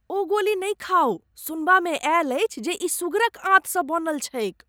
ओ गोली नहि खाउ। सुनबामे आयल अछि जे ई सुगरक आंतसँ बनल छैक।